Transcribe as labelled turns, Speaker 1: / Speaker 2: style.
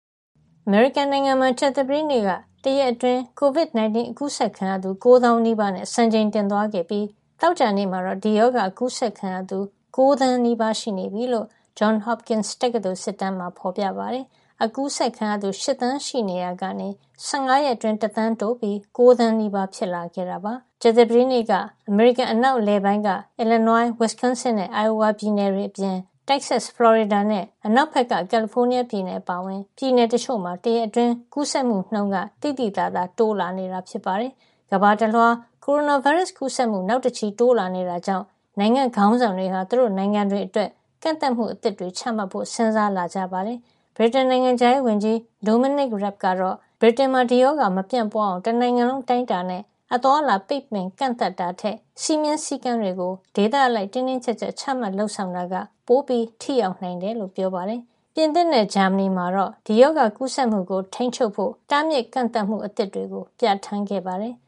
Speaker 1: အမေရိကန်နိုင်ငံမှာ ကြာသပတေးနေ့က တရက်အတွင်း COVID 19 အကူးစက်ခံရသူ ၉ သောင်းနီးပါး (၈၈,၅၂၁) နဲ့ စံချိန်တင်သွားခဲ့ပြီး သောကြာနေ့မှာတော့ ဒီရောဂါအကူးစက်ခံရသူ ၉ သန်းနီးပါး (၈,၉၈၂,၈၀၄) ရှိနေပြီလို့ Johns Hopkins တက္ကသိုလ်က ကောက်ယူတဲ့ စစ်တမ်းမှာ ဖေါ်ပြပါတယ်။ ပြီးခဲ့တဲ့ သီတင်း ၂ ပတ်က အကူးစက်ခံရသူ ၈ သန်းရှိနေရာကနေ ၁၅ ရက်အတွင်း တသန်းတိုးပြီး ၉ သန်းနီးပါး ဖြစ်လာခဲ့တာပါ။ ကြာသပတေးနေ့က အမေရိကန် အနောက်အလယ်ပိုင်းက Illinois ၊ Wisconsin နဲ့ Ohio ပြည်နယ်တွေအပြင် တောင်ပိုင်းက Texas ၊ ဖလော်ရီဒါနဲ့ အနောက်ဖက်က ကယ်လီဖိုးနီးယား ပြည်နယ် အပါအဝင် ပြည်နယ်တချို့မှာ တရက်အတွင်း ကူးစက်မှုနှုန်း သိသိသာသာ တိုးလာနေတာ ဖြစ်ပါတယ်။ ကမ္ဘာတလွှား ကိုရိုနာဗိုင်းရပ်စ် ကူးစက်မှု နောက်တချီ တိုးလာနေတာကြောင့် နိုင်ငံ့ခေါင်းဆောင်တွေဟာ သူတို့နိုင်ငံတွေအတွက် ကန့်သတ်မှုအသစ်တွေ ချမှတ်ဖို့ စဉ်းစားလာကြပါတယ်။ ဗြိတိန်နိုင်ငံခြားရေးဝန်ကြီး Dominic Raab ကတော့ ဗြိတိန်မှာ ဒီရောဂါပိုးမပြန့်ပွားအောင် တနိုင်ငံလုံး အတိုင်းအတာနဲ့ အသွားအလာ ပိတ်ပင် ကန့်သတ်တာထက် စည်းမျဉ်းစည်းကမ်းတွေကို ဒေသအလိုက် တင်းတင်းကြပ်ကြပ် ချမှတ် လုပ်ဆောင်တာက ပိုထိရောက်နိုင်တယ်လို့ ပြောပါတယ်။ ပြင်သစ်နဲ့ ဂျာမဏီမှာတော့ ဒီရောဂါကူးစက်မှု ကိုထိန်းချုပ်ဖို့ တားမြစ် ကန့်သတ်မှုအသစ်တွေ ပြဌာန်းခဲ့ပါတယ်။